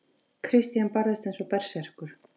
Christian barðist eins og berserkur.